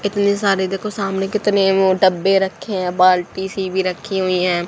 इतने सारे देखो सामने कितने वो डब्बे रखे है बाल्टी सी भी रखी हुई है।